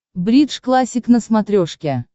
бридж классик на смотрешке